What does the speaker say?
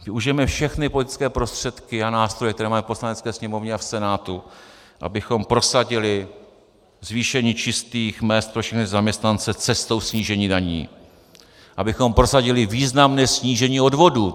Využijeme všechny politické prostředky a nástroje, které máme v Poslanecké sněmovně a v Senátu, abychom prosadili zvýšení čistých mezd pro všechny zaměstnance cestou snížení daní, abychom prosadili významné snížení odvodů.